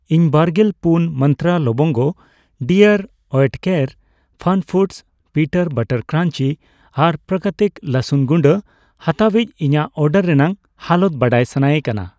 ᱤᱧ ᱵᱟᱨᱜᱮᱞ ᱯᱩᱱ ᱢᱟᱱᱛᱨᱟ ᱞᱚᱵᱚᱝᱜᱚ, ᱰᱤᱟᱨᱹ ᱳᱭᱮᱴᱠᱮᱨ ᱯᱷᱟᱱᱯᱷᱩᱰᱚᱥ ᱚᱤᱱᱟᱴ ᱵᱟᱨᱟᱴ ᱠᱨᱟᱧᱡᱤ ᱟᱨ ᱯᱨᱟᱠᱨᱤᱛᱤᱠ ᱨᱟᱥᱩᱱ ᱜᱩᱰᱟᱹ ᱦᱟᱛᱟᱣᱤᱡᱽ ᱤᱧᱟᱜ ᱚᱰᱟᱨ ᱨᱮᱱᱟᱜ ᱦᱟᱞᱚᱛ ᱵᱟᱰᱟᱭ ᱥᱟᱱᱟᱭᱮ ᱠᱟᱱᱟ ᱾